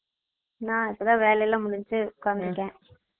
நா இப்பாத வேலை எல்லா முடிஞ்சு உட்கந்துருக்கன்